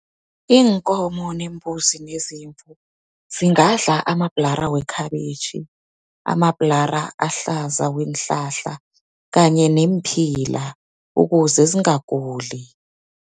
Iinkomo neembuzi nezimvu, zingadla amabhlara wekhabitjhi, amabhlara ahlaza weenhlahla, kanye neemphila, ukuze zingaguli.